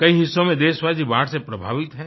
कई हिस्सों में देशवासी बाढ़ से प्रभावित हैं